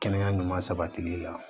Kɛnɛya ɲuman sabatili la